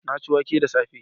Na ci wake da safe